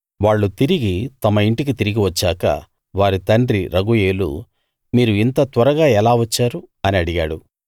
వాళ్ళు తిరిగి తమ ఇంటికి తిరిగి వచ్చాక వారి తండ్రి రగూయేలు మీరు ఇంత త్వరగా ఎలా వచ్చారు అని అడిగాడు